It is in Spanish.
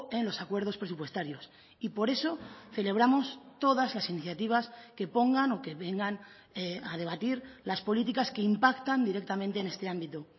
en los acuerdos presupuestarios y por eso celebramos todas las iniciativas que pongan o que vengan a debatir las políticas que impactan directamente en este ámbito